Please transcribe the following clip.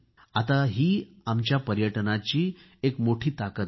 आता ही आमच्या पर्यटनाची एक मोठी ताकद आहे